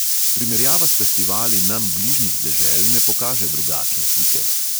Primerjava s festivali nam bližnjih dežel ne pokaže drugačne slike.